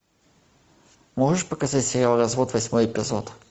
можешь показать сериал развод восьмой эпизод